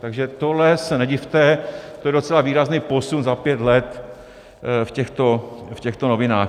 Takže tohle se nedivte, to je docela výrazný posun za pět let v těchto novinách.